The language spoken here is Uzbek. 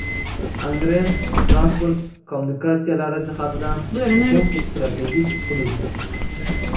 Angren transport kommunikatsiyalari jihatidan muhim strategik hudud.